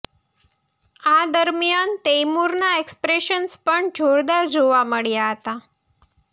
આ દરમિયાન તૈમુરના એક્સપ્રેશન્સ પણ જોરદાર જોવા મળ્યા હતાં